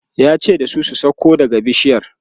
yace da su "sauko daga kan bishiyar!"